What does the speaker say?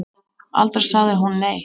Aldrei sagði hún nei.